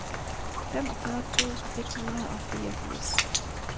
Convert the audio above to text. femogfyrre tusind et hundrede og fireogfirs